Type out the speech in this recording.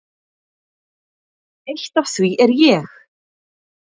Eitt af því er ég.